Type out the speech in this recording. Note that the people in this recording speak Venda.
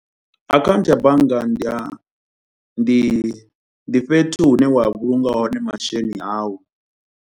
Akhaunthu ya bannga ndi a ndi ndi fhethu hu ne wa vhulunga hone masheleni awu.